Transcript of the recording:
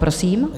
Prosím.